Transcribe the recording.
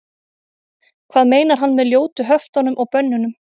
hvað meinar hann með ljótu höftunum og bönnunum